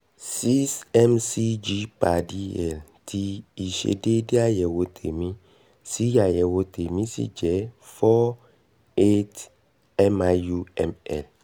6 mcg/dl tí ìṣedéédé àyẹ̀wò tèmi sì àyẹ̀wò tèmi sì jẹ́ 4-8 miu/ml